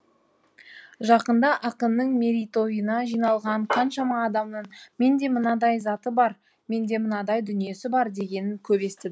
жақында ақынның мерейтойына жиналған қаншама адамнан менде мынадай заты бар менде мынадай дүниесі бар дегенін көп есті